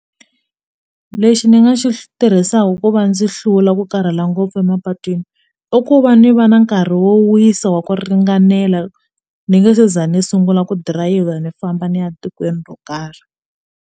Lexi ni nga xi tirhisaka ku va ndzi hlula ku karhala ngopfu emapatwini i ku va ni va na nkarhi wo wisa wa ku ringanela ni nge se za ni sungula ku dirayivha ni famba ni ya etikweni ro karhi.